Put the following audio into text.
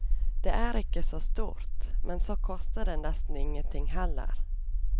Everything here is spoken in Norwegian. Det er ikke så stort, men så koster det nesten ingen ting heller.